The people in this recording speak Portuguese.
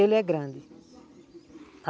Ele é grande.